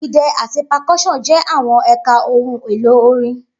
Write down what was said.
Idẹ ati percussion jẹ awọn ẹka ohun elo orin.